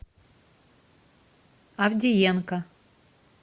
авдеенко